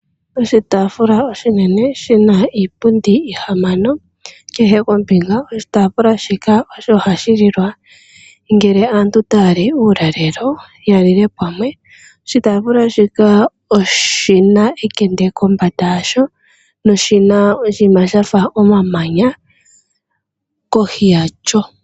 Oshitaafula oshinene oshina iipundi yili ihamano kehe kombinga. Oshitaafula shika osho hashi lilwa ngele aantu taya li uulalelo ya lile pamwe. Oshitaafula oshina ekende kombanda yasho noshina oshinima shafa omamanya kohi yasho.